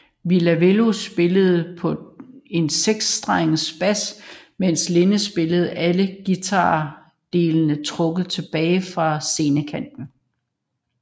Ville Valo spillede på en seksstrenget bas mens Linde spillede alle guitardelene trukket tilbage fra scenekanten